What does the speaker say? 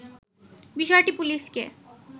বিষয়টি পুলিশকে